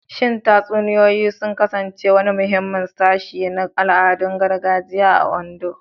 Shin tatsuniyoyi sun kasance wani muhimmin sashi na al'adun gargajiya a Ondo?